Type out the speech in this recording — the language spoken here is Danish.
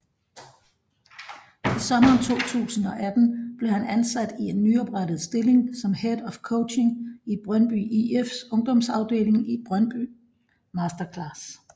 I sommeren 2018 blev han ansat i en nyoprettet stilling som Head of Coaching i Brøndby IFs ungdomsafdeling Brøndby Masterclass